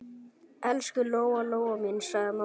Elsku Lóa-Lóa mín, sagði mamma.